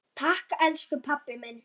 Takk elsku pabbi minn.